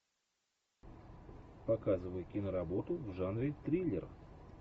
показывай киноработу в жанре триллер